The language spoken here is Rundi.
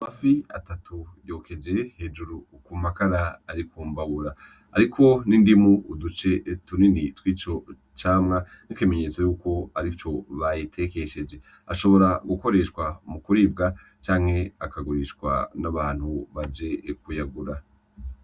Amafi atatu yokeje hejuru kumakara arikumbabura, hariko n'indimu uduce tuninni twico camwa nk'ikimenyetso yuko arico bayitekesheje. Ashobora gukoreshwa mu kuribwa canke akagurishwa n'abantu baje kuyagura.